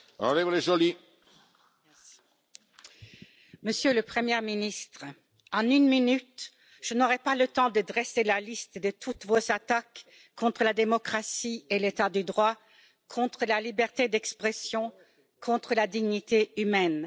Monsieur le Président, Monsieur le Premier ministre, en une minute, je n'aurai pas le temps de dresser la liste de toutes vos attaques contre la démocratie et l'état de droit, contre la liberté d'expression, contre la dignité humaine.